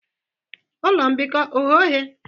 Ụlọ mbikọ oghe oghe?